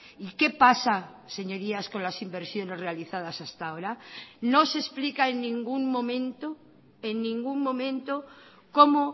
y qué pasa señorías con las inversiones realizadas hasta ahora no se explica en ningún momento en ningún momento cómo